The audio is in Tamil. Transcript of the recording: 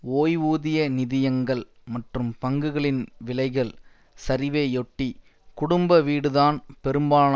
ஓய்வூதிய நிதியங்கள் மற்றும் பங்குகளின் விலைகள் சரிவையொட்டி குடும்ப வீடுதான் பெரும்பாலான